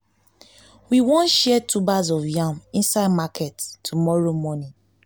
we wan share tubers of yam inside market tomorrow morning